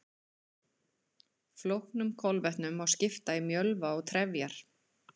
Flóknum kolvetnum má skipta í mjölva og trefjar.